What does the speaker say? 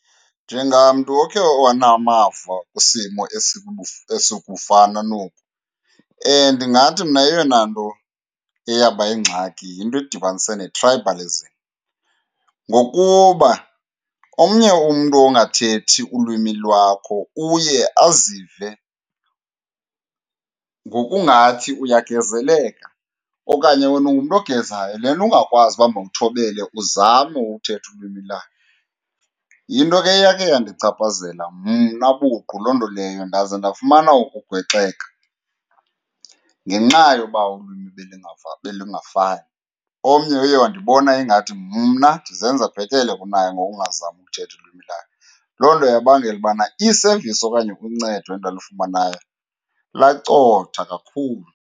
Njengamntu okhe wanamava kwisimo esikufana noku, ndingathi mna eyona nto eyaba yingxaki yinto edibanise ne-tribalism. Ngokuba omnye umntu ongathethi ulwimi lwakho uye azive ngokungathi uyagezeleka, okanye wena ungumntu ogezayo le nto ungakwazi uba mawuthobele uzame ukuthetha ulwimi lakhe. Yinto ke eyake yandichaphazela mna buqu loo nto leyo, ndaze ndafumana ukugwexeka ngenxa yoba ulwimi belungafani, omnye uye wandibona ingathi mna ndizenza bhetele kunaye ngokungazami ukuthetha ulwimi lwakhe. Loo nto yabangela ubana i-service okanye uncedo endalufumanayo lacotha kakhulu.